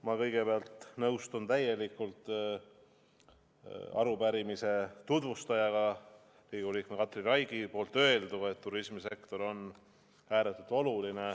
Ma kõigepealt nõustun täielikult arupärimise tutvustaja, Riigikogu liikme Katri Raigi öelduga, et turismisektor on ääretult oluline.